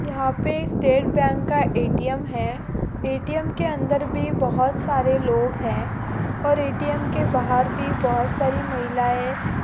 यह पे state bank का ऐ.टी.एम है ऐ.टी.एम के अन्दर भी बहुत सारे लोग है और ऐ.टी.एम के बाहर भी बहुत सारी महिलाये--